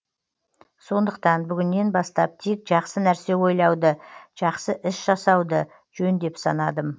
сондықтан бүгіннен бастап тек жақсы нәрсе ойлауды жақсы іс жасауды жөн деп санадым